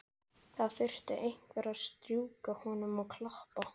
Það þurfti einhver að strjúka honum og klappa.